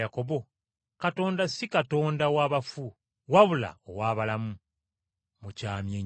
Katonda si Katonda w’abafu, wabula ow’abalamu. Mukyamye nnyo.”